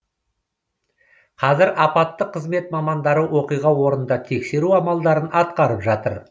қазір апаттық қызмет мамандары оқиға орнында тексеру амалдарын атқарып жатыр